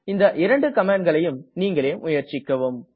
இந்த இரண்டு கமாண்ட்களையும் நீங்களே முயற்சிக்கவும்